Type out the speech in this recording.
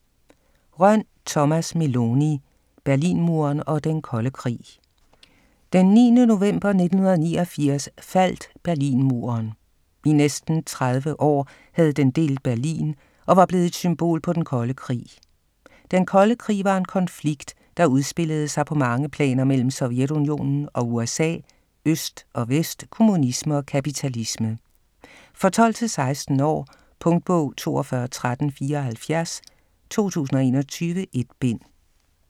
Rønn, Thomas Meloni: Berlinmuren og Den kolde Krig Den 9. november 1989 faldt Berlinmuren. I næsten 30 år havde den delt Berlin og var blevet et symbol på Den kolde Krig. Den kolde Krig var en konflikt, der udspillede sig på mange planer mellem Sovjetunionen og USA, øst og vest, kommunisme og kapitalisme. For 12-16 år. Punktbog 421374 2021. 1 bind.